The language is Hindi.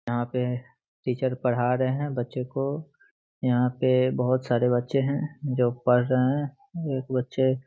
यहाँ पे टीचर पढ़ा रहे बच्चे को यहाँ पे बहुत सारे बच्चें है जो पढ़ रहे है एक बच्चे --